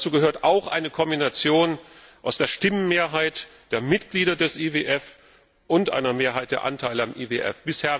Dazu gehört auch eine Kombination aus der Stimmenmehrheit der Mitglieder des IWF und einer Mehrheit der Anteile am IWF.